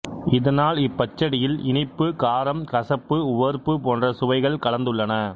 இதனால் இப் பச்சடியில் இனிப்பு காரம் கசப்பு உவர்ப்பு போன்ற சுவைகள் கலந்துள்ளன